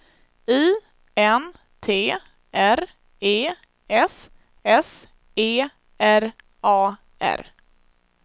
I N T R E S S E R A R